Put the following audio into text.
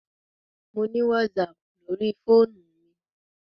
Mo ni WhatsApp lórí fóònù mi.